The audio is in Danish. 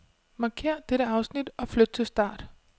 Markér dette afsnit og flyt til start.